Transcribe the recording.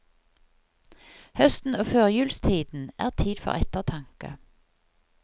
Høsten og førjulstiden er tid for ettertanke.